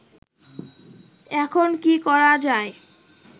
এখন কি করা যায়